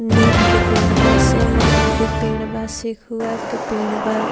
नीम के पेड़ बा सिमर के पेड़ बा सिखुआ के पेड़ बा।